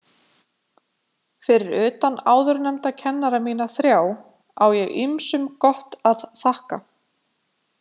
Fyrir utan áðurnefnda kennara mína þrjá á ég ýmsum gott að þakka.